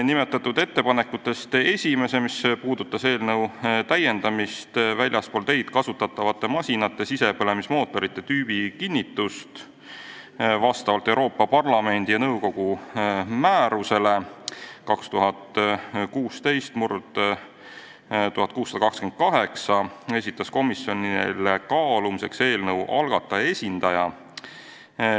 Nimetatud ettepanekutest esimese, mis puudutab väljaspool teid kasutatavate masinate sisepõlemismootorite tüübikinnitust vastavalt Euroopa Parlamendi ja nõukogu määrusele 2016/1628, esitas komisjonile kaalumiseks eelnõu algataja esindaja.